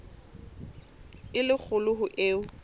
e le kgolo ho eo